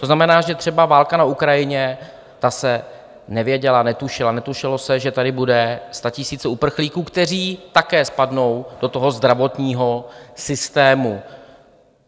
To znamená, že třeba válka na Ukrajině, ta se nevěděla, netušila, netušilo se, že tady budou statisíce uprchlíků, kteří také spadnou do toho zdravotního systému.